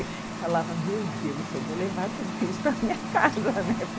Eu falava, meu Deus, eu vou levar tudo isso para a minha casa,